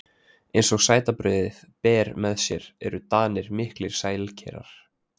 Eins og sætabrauðið ber með sér eru Danir miklir sælkerar.